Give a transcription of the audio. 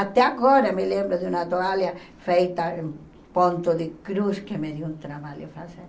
Até agora me lembro de uma toalha feita em ponto de cruz que me deu um trabalho a fazer.